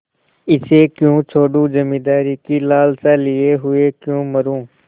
इसे क्यों छोडूँ जमींदारी की लालसा लिये हुए क्यों मरुँ